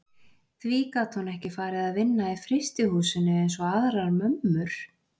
Því gat hún ekki farið að vinna í frystihúsinu eins og aðrar mömmur?